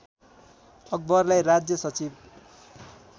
अकबरलाई राज्य सचिव